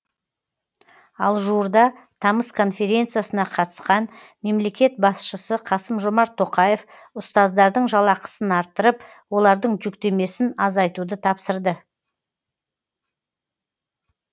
ал жуырда тамыз конференциясына қатысқан мемлекет басшысы қасым жомарт тоқаев ұстаздардың жалақысын арттырып олардың жүктемесін азайтуды тапсырды